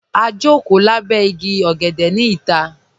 Ā jọkò làbẹ̀ ìgí ọ̀gẹ̀dẹ̀ ni ìtà.